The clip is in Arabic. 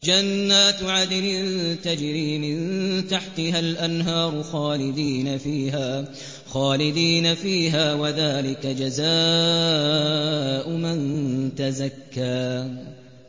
جَنَّاتُ عَدْنٍ تَجْرِي مِن تَحْتِهَا الْأَنْهَارُ خَالِدِينَ فِيهَا ۚ وَذَٰلِكَ جَزَاءُ مَن تَزَكَّىٰ